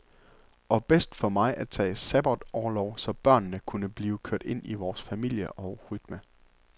Og bedst for mig at tage sabbatorlov, så børnene kunne blive kørt ind i vores familie og rytme.